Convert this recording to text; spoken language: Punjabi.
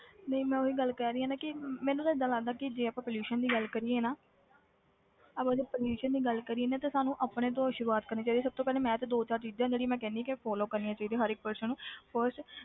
ਨਹੀਂ ਮੈਂ ਉਹੀ ਗੱਲ ਕਹਿ ਰਹੀ ਹਾਂ ਨਾ ਕਿ ਮੈਨੂੰ ਤਾਂ ਏਦਾਂ ਲੱਗਦਾ ਕਿ ਜੇ ਆਪਾਂ pollution ਦੀ ਗੱਲ ਕਰੀਏ ਨਾ ਆਪਾਂ ਜੇ pollution ਦੀ ਗੱਲ ਕਰੀਏ ਨਾ ਤੇ ਸਾਨੂੰ ਆਪਣੇ ਤੋਂ ਸ਼ੁਰੂਆਤ ਕਰਨੀ ਚਾਹੀਦੀ, ਸਭ ਤੋਂ ਪਹਿਲੇ ਮੈਂ ਤੇ ਦੋ ਚਾਰ ਚੀਜ਼ਾਂ ਜਿਹੜੀਆਂ ਮੈਂ ਕਹਿਨੀ ਕਿ follow ਕਰਨੀਆਂ ਚਾਹੀਦੀਆਂ ਹਰ ਇੱਕ person ਨੂੰ first